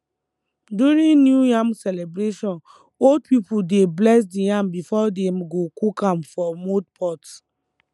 during new yam celebration old people dey bless the yam before dem go cook am for mud pot